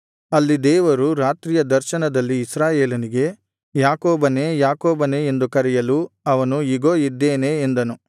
ಅಲ್ಲಿ ದೇವರು ರಾತ್ರಿಯ ದರ್ಶನದಲ್ಲಿ ಇಸ್ರಾಯೇಲನಿಗೆ ಯಾಕೋಬನೇ ಯಾಕೋಬನೇ ಎಂದು ಕರೆಯಲು ಅವನು ಇಗೋ ಇದ್ದೇನೆ ಎಂದನು